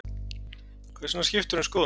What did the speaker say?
Hvers vegna skiptirðu um skoðun?